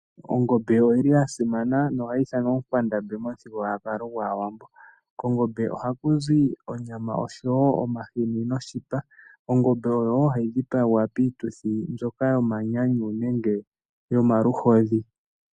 Ongombe oyili yasimana nohayi ithanwa oonkwandambi momu thigululwakalo gwaawambo. Konggombe ohaku zi onyama oshowo omahini noshipa. Ongombe oyo wo hayi dhipagwa piituthi yomanyanyu nenge yomaluhodhi.